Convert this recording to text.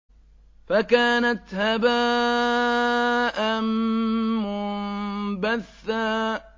فَكَانَتْ هَبَاءً مُّنبَثًّا